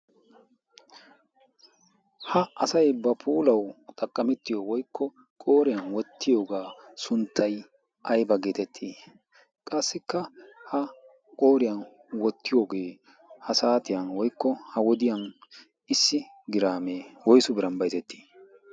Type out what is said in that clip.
ha asay ba poolau xaqqamettiyo woykko qooriyan wottiyoogaa sunttay ayba geetettii qassikka ha qooriyan wottiyoogee ha saatiyan woikko ha wodiyan issi giraamee woysu biran bayzettii